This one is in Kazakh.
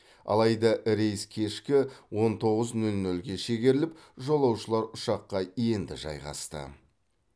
алайда рейс кешкі он тоғыз нөл нөлге шегеріліп жолаушылар ұшаққа енді жайғасты